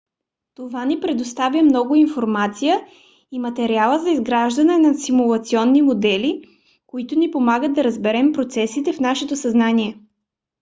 това ни предоставя много информация и материали за изграждане на симулационни модели които ни помагат да разберем процесите в нашето съзнание